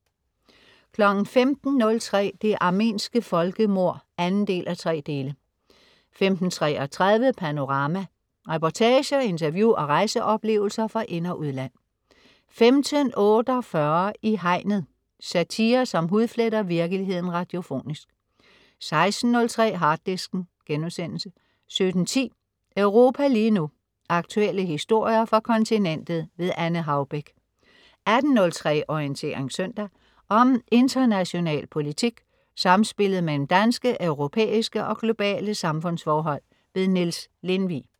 15.03 Det armenske folkemord 2:3 15.33 Panorama. Reportager, interview og rejseoplevelser fra ind- og udland 15.48 I Hegnet. Satire, som hudfletter virkeligheden radiofonisk 16.03 Harddisken* 17.10 Europa lige nu. Aktuelle historier fra kontinentet. Anne Haubek 18.03 Orientering søndag. Om international politik, samspillet mellem danske, europæiske og globale samfundsforhold. Niels Lindvig